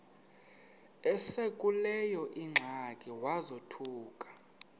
esekuleyo ingxaki wazothuka